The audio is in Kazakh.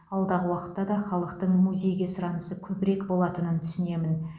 алдағы уақытта да халықтың музейге сұранысы көбірек болатынын түсінемін